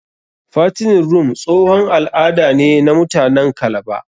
Fattening room tsohon al'ada ne na muatanen kalaba.